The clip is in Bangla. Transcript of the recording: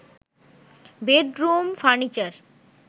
bedroom furniture